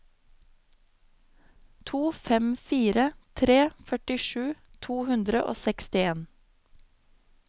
to fem fire tre førtisju to hundre og sekstien